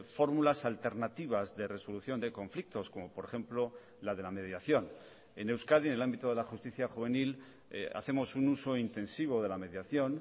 fórmulas alternativas de resolución de conflictos como por ejemplo la de la mediación en euskadi en el ámbito de la justicia juvenil hacemos un uso intensivo de la mediación